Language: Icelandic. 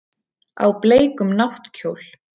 Á bleikum náttkjól.